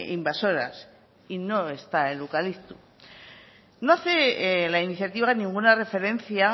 invasoras y no está el eucalipto no hace la iniciativa ninguna referencia